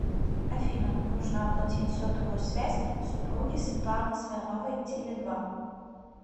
афина нужно оплатить сотовую связь супруги светланы смирновой теле два